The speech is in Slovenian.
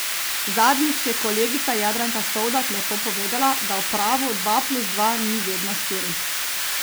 Zadnjič je kolegica Jadranka Sovdat lepo povedala, da v pravu dva plus dva ni vedno štiri.